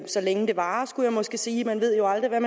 så længe det varer skulle jeg måske sige man ved jo aldrig hvad